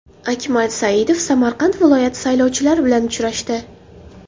Akmal Saidov Samarqand viloyati saylovchilari bilan uchrashdi.